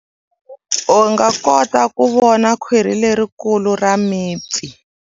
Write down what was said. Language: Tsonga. U nga kota ku vona khwiri lerikulu ra mipfi.